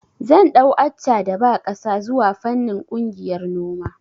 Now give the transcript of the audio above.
Zan ɗau Accha da ba ƙasa zuwa fannin ƙungiyar noma